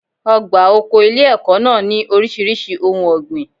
Ọgbà oko ilé ẹ̀kọ́ náà ní oríṣiríṣi ohun ọ̀gbìn.